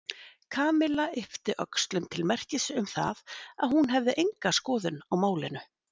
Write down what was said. Kamilla yppti öxlum til merkis um það að hún hefði enga skoðun á málinu.